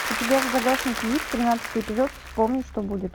у тебя в загашнике есть тринадцатый эпизод вспомни что будет